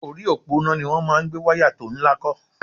Orí òpó iná ni wọ́n máa gbé wáyá tó ńlá kọ́